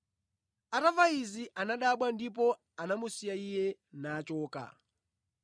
Atamva izi, anadabwa, ndipo anamusiya Iye, nachoka.